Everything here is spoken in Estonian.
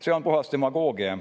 See on puhas demagoogia.